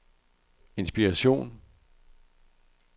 inspiration